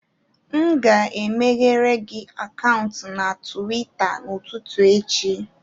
M ga-emeghere gị akaụntụ na Tuweeta n'ụtụtụ echi